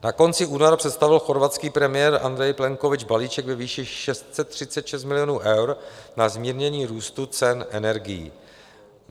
Na konci února představil chorvatský premiér Andrej Plenkovič balíček ve výši 636 milionů eur na zmírnění růstu cen energií.